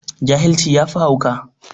Jahilci yafi hauka.